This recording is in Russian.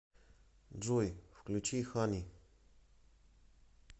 джой включи хани